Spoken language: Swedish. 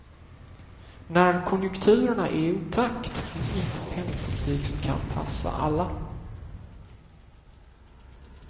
När konjunkturerna är i otakt finns ingen penningpolitik som kan passa alla.